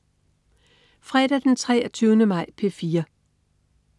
Fredag den 23. maj - P4: